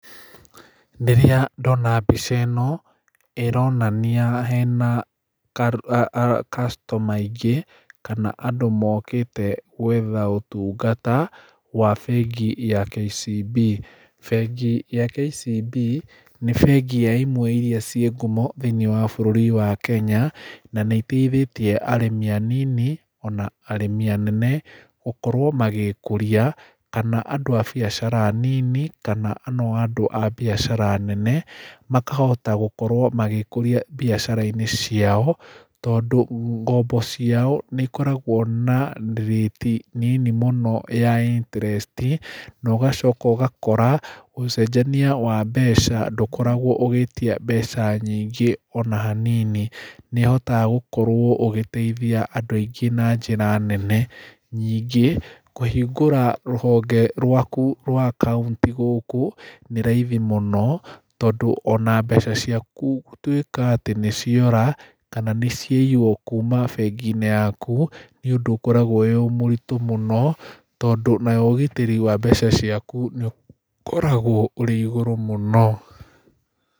Rĩrĩa ndona mbica ĩno, ĩronania hena a customer aingĩ kana andũ mokĩte gwetha ũtungata wa bengi ya KCB. Bengi ya KCB, nĩ bengi ya imwe iria ciĩ ngumo thĩinĩ wa bũrũri wa Kenya na nĩiteithĩtie arĩmi anini, ona arĩmi anene, gũkorwo magĩkũria, kana andũ a biacara nini, kana ona andũ a biacara nene, makahota gũkorwo magĩkũria mbiacarainĩ ciao, tondũ ngombo ciao nĩikoragwo na rĩti nini mũno ya interest[ca] na ũgacoka ũgakora ũcenjania wa mbeca ndũkoragwo ũgĩtia mbeca nyingĩ ona hanini. Nĩhotaga gũkorwo ũgĩteithia andũ aingĩ na njĩra nene, ningĩ, kũhingũra rũhonge rwa kũ rwa kaũntĩ gũkũ nĩ raithi mũno, tondũ ona mbeca ciaku gũtuĩka atĩ nĩciora, kana nĩciaiywo kuma benginĩ yaku, nĩũndũ ũkoragwo wĩ mũritũ mũno, tondũ nayo ũgitĩri wa mbeca ciaku nĩũkoragwo ũrĩ igũrũ mũno.